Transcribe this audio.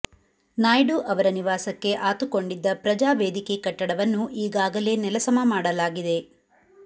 ನಾಯ್ಡು ಅವರ ನಿವಾಸಕ್ಕೆ ಆತುಕೊಂಡಿದ್ದ ಪ್ರಜಾವೇದಿಕೆ ಕಟ್ಟಡವನ್ನು ಈಗಾಗಲೇ ನೆಲಸಮ ಮಾಡಲಾಗಿದೆ